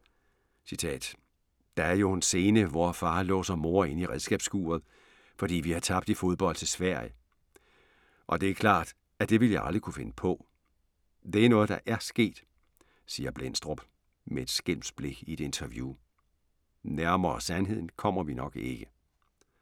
"Der er jo en scene, hvor far låser mor inde i redskabsskuret, fordi vi har tabt i fodbold til Sverige, og det er klart, at det ville jeg aldrig kunne finde på. Det er noget der ER sket", siger Blendstrup med et skælmsk blik i et interview. Nærmere sandheden kommer vi nok ikke.